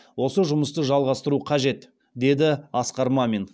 осы жұмысты жалғастыру қажет деді асқар мамин